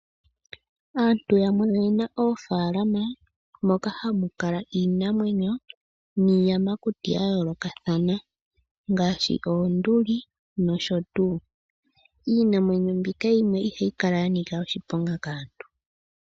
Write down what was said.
Aantu yamwe oye na oofaalama moka hamu kala iinamwenyo niiyamakuti ya yoolokathana ngaashi oonduli nosho tuu. Iinamwenyo mbika yimwe ihayi kala ya nika oshiponga kaantu.